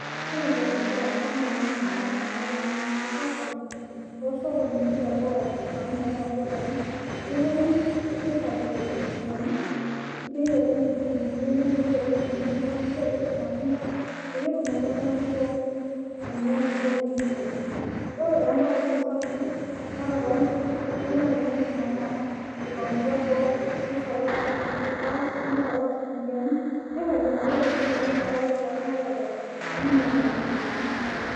Ore entoki nagira aasa naa noo mama napuonu oshi atoni amu meeta ldukai nepuonu airagie rkuniani neiteleki nkitunguuni enye neiteleki nyanya neiteleki rmatunda pee etumoki oltungani pooki ainyangu oim ine wueji ore roo ntaoni sapukin ata too nkutirik kelo ake ninepu nomama eipangutua boo neisalash rkarash neisalash rkuniani neiragie naduo tokitin enye metaa metaa ore pooki ngae odol neinyangu teneitishipa nena tokitin